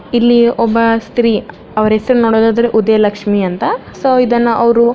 ಇಲ್ಲಿ ಒಬ್ಬ ಸ್ತ್ರೀ ಅವರ ಹೆಸರು ನೋಡುದಾದರೆ ಉದಯ ಲಕ್ಷ್ಮಿ ಅಂತ ಸೊ ಇದನ್ನ ಅವರು--